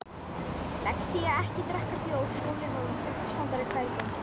Lexía-ekki drekka bjór Sóli Hólm, uppistandari Hvað er í gangi?